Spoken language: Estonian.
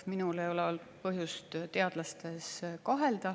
Minul ei ole olnud põhjust teadlastes kahelda.